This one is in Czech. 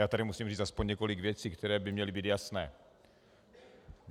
Já tady musím říci aspoň několik věcí, které by měly být jasné.